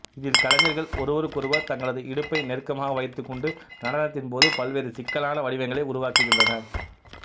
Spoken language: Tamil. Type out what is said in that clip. இதில் கலைஞர்கள் ஒருவருக்கொருவர் தங்களது இடுப்பை நெருக்கமாக வைத்துக் கொண்டு நடனத்தின் போது பல்வேறு சிக்கலான வடிவங்களை உருவாக்குகின்றனா்